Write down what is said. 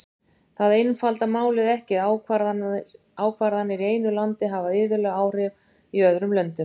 Það einfaldar málið ekki að ákvarðanir í einu landi hafa iðulega áhrif í öðrum löndum.